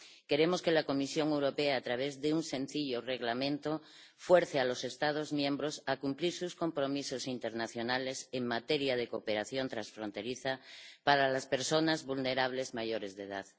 Queremos que la Comisión Europea, a través de un sencillo reglamento, fuerce a los Estados miembros a cumplir sus compromisos internacionales en materia de cooperación transfronteriza para las personas vulnerables mayores de edad.